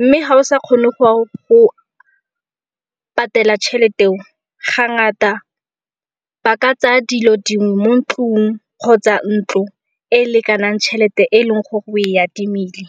mme ga o sa kgone go patela tšhelete eo ga ngata ba ka tsaya dilo dingwe mo ntlung kgotsa ntlo e e lekanang tšhelete e leng gore o e adimile.